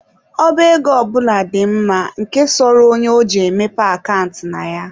Ọba ego ọ bụla dị mma, nke sọrọ onye, ọ je mepee akant na ya.